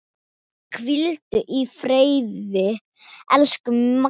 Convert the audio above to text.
Hvíldu í friði, elsku Maggi.